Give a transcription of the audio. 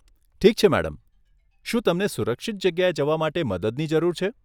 ઠીક છે, મેડમ, શું તમને સુરક્ષિત જગ્યાએ જવા માટે મદદની જરૂર છે?